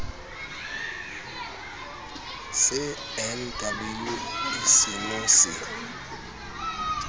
se nw e seno se